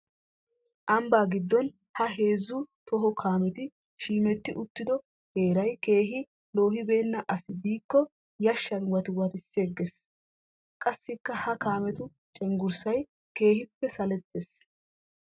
Ambba giddon ha heezzu toho kaametti 'shiimetti'uttiddo heeray keehi loohibeena asi biikko yashan wattiwatissigees. Qassikka ha kaamettu cenggurssay keehippe salletees.